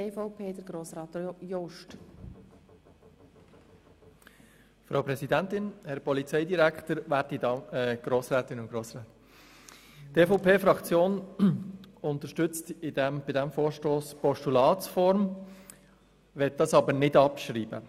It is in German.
Die EVP-Fraktion unterstützt bei diesem Vorstoss die Form eines Postulats, allerdings möchten wir es nicht abschreiben.